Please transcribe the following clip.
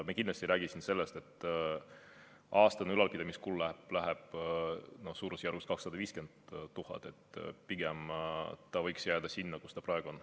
Me kindlasti ei räägi siin sellest, et aastane ülalpidamiskulu on suurusjärgus 250 000 eurot, pigem jääb ta selliseks, nagu ta praegu on.